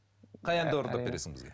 қай әнді орындап бересің бізге